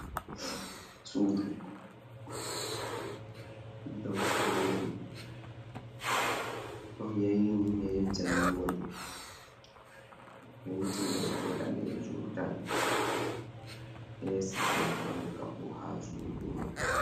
Suudu, dau sudu, ɗo yayni ne jayingol ,penti mai bo danejuum tal, esi be fanka fuu ha suudu mai.